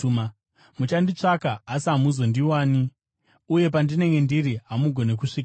Muchanditsvaka, asi hamuchazondiwani; uye pandinenge ndiri, hamugoni kusvikapo.”